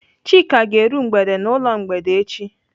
Chika ga-eru mgbede n'ụlọ mgbede echi.